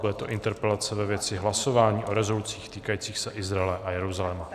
Bude to interpelace ve věci hlasování o rezolucích týkajících se Izraele a Jeruzaléma.